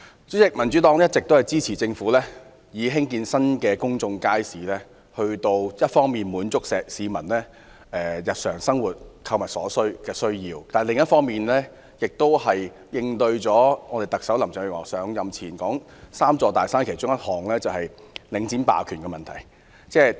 主席，民主黨一直支持政府興建新的公眾街市，一方面為滿足市民日常生活購物的需要，另一方面，是為應對特首林鄭月娥上任前所承諾會處理"三座大山"之一的領展霸權的問題。